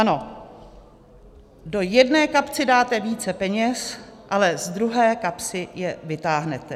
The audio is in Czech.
Ano, do jedné kapsy dáte více peněz, ale z druhé kapsy je vytáhnete.